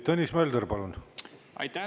Tõnis Mölder, palun!